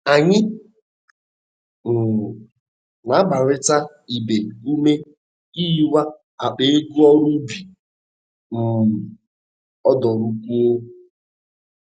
Anyị um na-agbarịta ibe ume ihiwa akpa ego ọru ụbi um odụrụkuọ